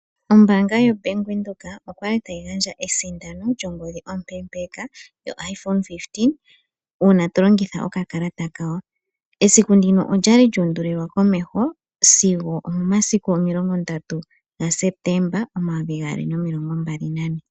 Ombanga yobank windhoek okwali tayi gandja esindano lyongodhi ompe mpeka yoiphone 15 uuna to longitha oka kalata kawo, esiku ndino olyali lya undulilwa komeho sigo omoma siku omilongo ndatu sepetemba omayovi gaali nomilongo mbali nane.